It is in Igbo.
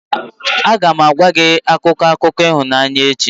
Aga m agwa gị akụkọ akụkọ ịhụnanya echi.